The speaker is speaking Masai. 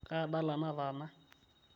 kaa dala nataana